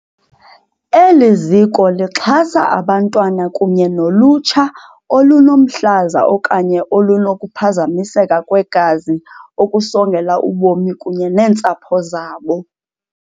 Eliziko lixhasa abantwana kunye nolutsha olunomhlaza okanye olunokuphazamiseka kwegazi okusongela ubomi kunye neentsapho zabo.